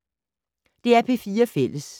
DR P4 Fælles